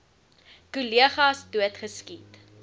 kollegas dood geskiet